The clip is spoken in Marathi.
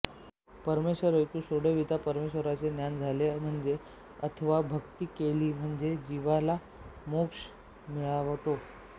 परमेश्वर एकु सोडविता परमेश्वराचे ज्ञान झाले म्हणजे अथवा भक्ती केली म्हणजे जीवाला मोक्ष मिळतो